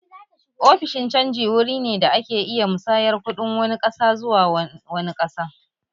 Ofishin canji wuri ne da ake iya musayar kuɗin wani ƙasa zuwa na wani ƙasan